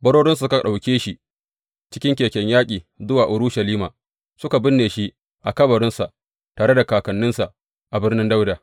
Barorinsa suka ɗauke shi cikin keken yaƙi zuwa Urushalima suka binne shi a kabarinsa tare da kakanninsa a birnin Dawuda.